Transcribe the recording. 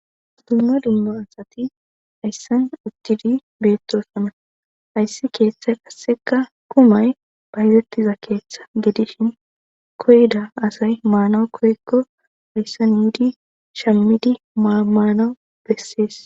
Dumma dumma asati hayssan uttidi beettosona hayssi keeththa kasseka kumay bayzettiza keeththa gedishin koyda asay maanaw koykko hayssan iidi shammidi maamaanawu bessees.